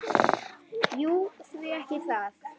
Jú, því ekki það?